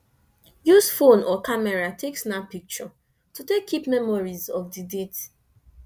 use phone or camera take snap picture to take keep memories of di date